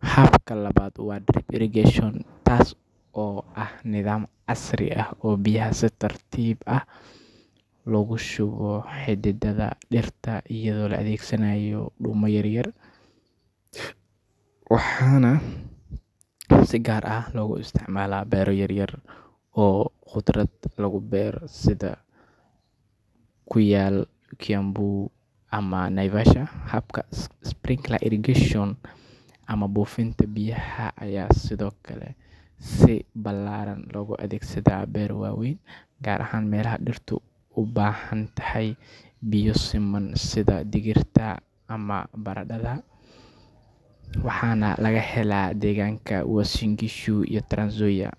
Habka labaad waa drip irrigation, kaas oo ah nidaam casri ah oo biyaha si tartiib ah ugu shubaya xididdada dhirta iyadoo la adeegsanayo dhuumo yaryar, waxaana si gaar ah looga isticmaalaa beero yaryar oo khudrad lagu beero sida ku yaal Kiambu ama Naivasha. Habka sprinkler irrigation ama buufinta biyaha ayaa sidoo kale si ballaaran loogu adeegsadaa beero waaweyn, gaar ahaan meelaha dhirtu u baahan tahay biyo siman sida digirta ama baradhada, waxaana laga helaa deegaanka Uasin Gishu iyo Trans-Nzoia.